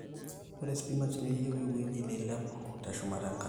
ore spinach neyieu ewueji neilepu teshumata enkare